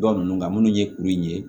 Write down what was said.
Ba ninnu nka minnu ye kuru in ye